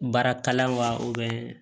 Baara kala wa u bɛ